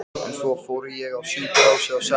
En svo fór ég á sjúkrahúsið á Selfossi.